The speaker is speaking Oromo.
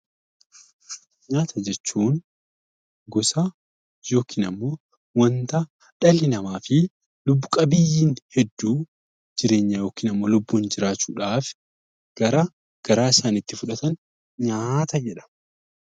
Nyaata jechuun gosa yookiin waanta dhalli namaa fi lubbu qabeeyyiin hedduun jireenya yookaan lubbuun jiraachuudhaaf gara garaa isaaniitti fudhatan nyaata jedhama.